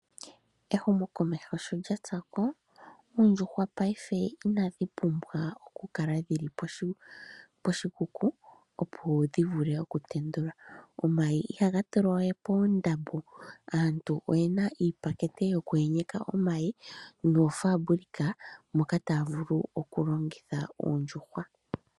Ehumo komeho sho lyatsako, Oondjuhwa paife inadhi pumbwa oku kala dhili pohi poshikuku opo dhi vule oku tendula. Omayi ihaga tulwa we poondambo, aantu oyena iipakete yoku enyeka omayi noofaambulika moka taya vulu oku longitha Oondjuhwa.